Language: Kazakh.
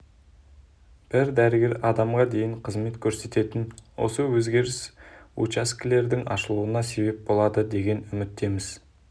бір дәрігер адамға дейін қызмет көрсететін осы өзгеріс жаңа учаскелердің ашылуына себеп болады деген үміттеміз